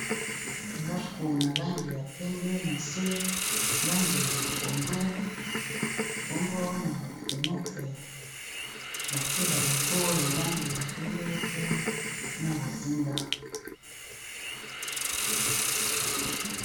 Ndako na langi ya pembe na se langi ya pondu bongo na bafenetre batie balogo ya langi ya pembe pe na bozinga.